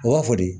U b'a fɔ de